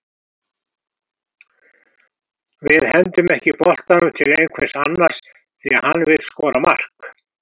Við hendum ekki boltanum til einhvers annars því að hann vill skora mark.